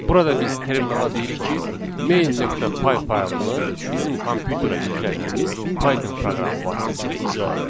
Burada biz terminala deyirik ki, main.py faylını bizim kompyuterə yüklədiyimiz Python proqramı vasitəsilə icra eləsin